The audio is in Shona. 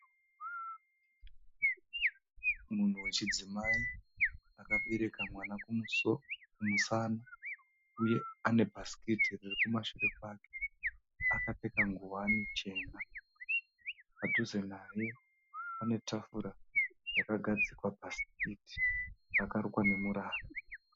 Munhu wechidzimai akabereka mwana kumusana uye ane bhasikiti riri kumashure kwake. Akapfeka ngowani chena. Padhuze naye pane tafura yakagadzikwa bhasikiti rakarukwa nemurara.